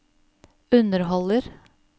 underholder